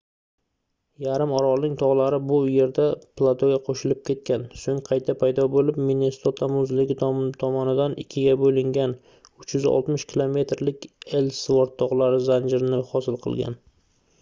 yarim orolning togʻlari bu yerda platoga qoʻshilib ketgan soʻng qayta paydo boʻlib minnesota muzligi tomonidan ikkiga boʻlingan 360 km lik ellsvort togʻlari zanjirini hosil qilgan